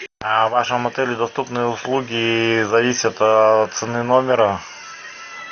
а в вашем отеле доступные услуги зависят от цены номера